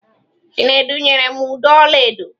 Chinedu nyere m ụdọ ọla edo.